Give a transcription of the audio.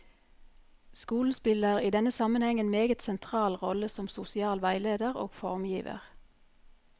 Skolen spiller i denne sammenheng en meget sentral rolle som sosial veileder og formgiver.